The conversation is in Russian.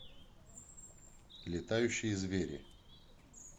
летающие звери